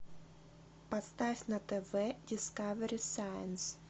поставь на тв дискавери сайнс